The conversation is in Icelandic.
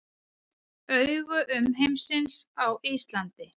Augu umheimsins á Íslandi